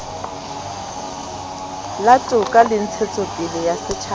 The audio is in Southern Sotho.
la toka le ntshetsopele ya